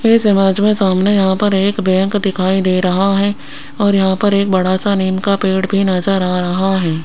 इस इमेज में सामने यहां पर एक बैंक दिखाई दे रहा हैं और यहां पर एक बड़ासा नीम का पेड़ भी नजर आ रहा हैं।